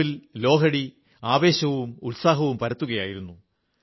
പഞ്ചാബിൽ ലോഹ്ഡി ആവേശവും ഉത്സാഹവും പരത്തുകയായിരുന്നു